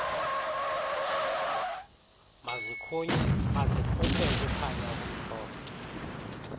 mazikhuphe ukukhanya okumhlophe